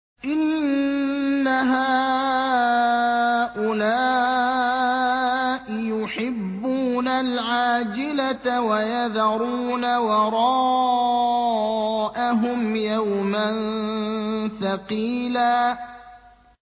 إِنَّ هَٰؤُلَاءِ يُحِبُّونَ الْعَاجِلَةَ وَيَذَرُونَ وَرَاءَهُمْ يَوْمًا ثَقِيلًا